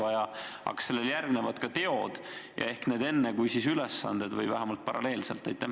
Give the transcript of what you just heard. Aga kas sellele jutule järgnevad ka teod ja kas need võiksid eelneda ülesannete andmisele või toimuda vähemalt paralleelselt?